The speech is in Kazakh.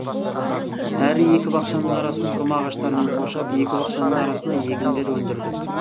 әрі екі бақшаның арасын құрма ағаштарымен қоршап екі бақшаның арасына егіндер өндірдік